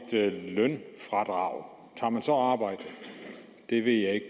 lønfradrag tager man så arbejde det ved jeg ikke